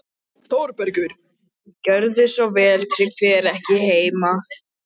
ÞÓRBERGUR: Gjörðu svo vel, Tryggvi er ekki heima.